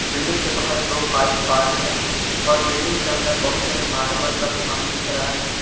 Building के बाहर दो बाइक पार्क है और बिल्डिंग के अंदर बहुत सारे मार्बल का सामान बिक रहा है।